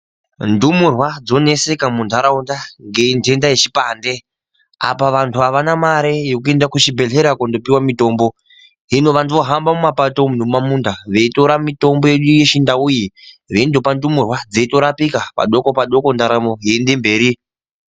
Ndumuree dzoneseka nendenda yechipande apa vantu avana mare yekuenda kuchibhedhlera kundopuwa mitombo hino kumapato nekumamunda veitora mitombo Yedu vechindsu veindopa mitombo inorapika padokondoko ndaramo yeienda mberi.